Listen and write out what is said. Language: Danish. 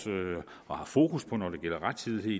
og har fokus på når det gælder rettidighed